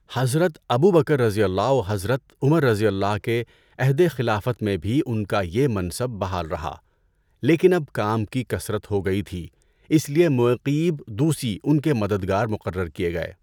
حضرت ابو بکرؓ و حضرت عمرؓ کے عہدِ خلافت میں بھی ان کا یہ منصب بحال رہا، لیکن اب کام کی کثرت ہو گئی تھی اس لیے مُعَیقِیب دُوسی ان کے مددگار مقرر کیے گئے۔